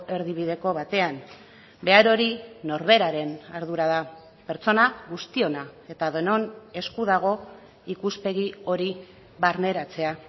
erdibideko batean behar hori norberaren ardura da pertsona guztiona eta denon esku dago ikuspegi hori barneratzea